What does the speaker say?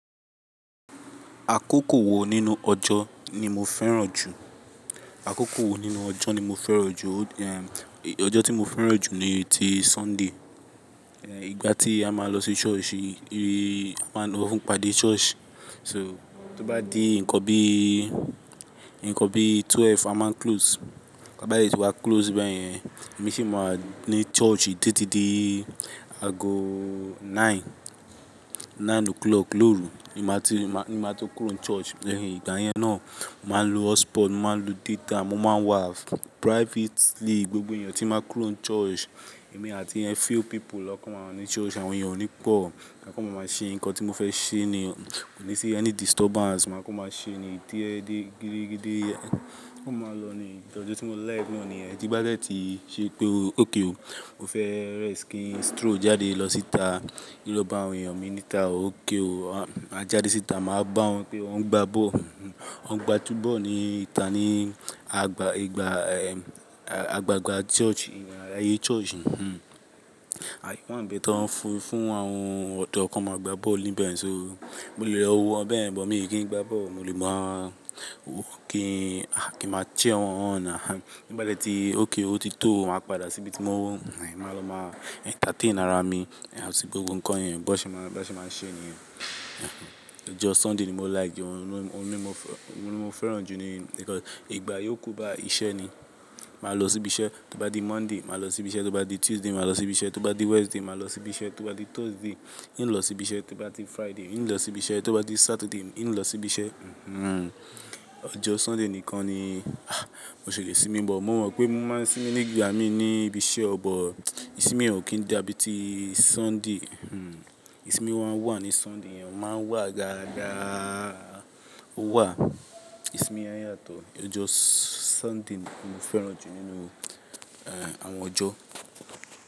Àkókò wo nínú ọjọ́ ni mo fẹ́ràn jù? Àkókò wo nínú ọjọ́ ni mo fẹ́ràn jù? Ẹ̀, ọjọ́ tí mo fẹ́ràn jù ni ti Sunday. Ẹ̀, ìgbà tí a máa lọ sí church, rí, a máa lọ ń padà church. So, tó bá di ǹkan bí, ǹkan bí twelve a máa ń close. Bá dẹ̀ tí wa close báyẹn, èmi sì máa wá ní church títí di aago nine, nine o'clock lóru. Ni máa tó, ni máa tó kúrò ní church. Lẹ́yìn ìgbà yẹn náà, màá lo hotspot, màá lo data, mo máa wà privately, gbogbo èèyàn tí máa kurò ní church, èmi àti a few people ló kọ máa wà ní church, àwọn èèyàn ò ní pọ̀. Máa kó máa máa ṣe ǹkan tí mo fẹ́ ṣe ni, kò ní sí ẹ́ni disturbance. Màá kó máa ṣe ni tí ẹ́ di gidigidi, kó máa lọ ni. Ọjọ́ tí mo like náà ni yẹ̀n. Díba dẹ tí ṣe pé okay o, o fẹ́ rest ki stroll jáde lọ síta kí lọ́ba àwọn èèyàn mí níta o, óké o. A jáde síta, màá bá wọn pé wọ́n ń gbá ball. Wọn ń gbá túbọ̀ọ̀ ní ita ní àgbà ìgbà ẹ̀, à, àgbàgbà church, ayé church. Aáye wa bi tan fi fún awọ́n fún àwọn ọ̀dọ́ kó máa gbá ball níbẹ̀ yẹn so. Mo lè lọ wo wọn bẹ́ẹ̀ bọ̀ mí kì í gbá bọ́ọ̀. Mo lè máa kí, kí màá cheer wọ́n. Díba dẹ tí okay o ti tó, màá padà síbi tí mo, è máa lọ máa entertain ara mi, sí gbogbo ǹkan yẹn. Bo ṣe máa, bo ṣe máa ṣe niyẹn. Ọjọ́ Sunday ni mo like jù. Òun ni mo fẹ́, òun ni mo fẹ́ràn jù ni because ìgbà yóò kú báyi iṣẹ́ ni. Màá lọ síbi iṣẹ́, tó bá di Monday màá lọ síbi iṣẹ́, tó bá di Tuesday màá lọ síbi iṣẹ́, tó bá di Wednesday màá lọ síbi iṣẹ́, tó bá di Thursday í ń lọ síbi iṣẹ́, tó bá di Friday í ń lọ síbi iṣẹ́, tó bá di Saturday í ń lọ síbi iṣẹ́. Ọjọ́ Sunday nìkan ni, ah, mo ṣè lé sími bọ̀. Mo mọ̀ pé mo máa ń sími ní ìgbà mí ní ibi iṣẹ́ ọ̀ bọ̀, ìsimi ò kí ń dàbí ti Sunday. Ìsimi máa ń wà ní Sunday, o máa wà gágá, ó wà. Ìsimi á yàtọ̀. Ọjọ́ Sunday ni mo fẹ́ràn jù nínú, ẹ́, àwọn ọjọ́